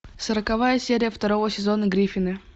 сороковая серия второго сезона гриффины